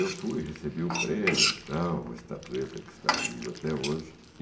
Eu fui, recebi o prêmio, tal, uma estatueta que está comigo até hoje.